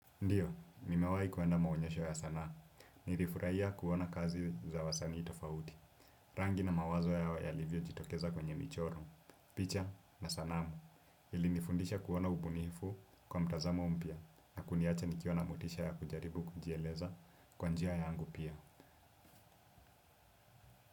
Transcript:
Ndiyo, nimewahi kwenda maonyesho ya sanaa, nilifurahia kuona kazi za wasanii tofauti, rangi na mawazo ya wayalivyo jitokeza kwenye michoro, picha na sanamu, ili nifundisha kuona ubunifu kwa mtazamo mpya na kuniacha nikiwa na motisha ya kujaribu kujieleza kwa njia yangu pia.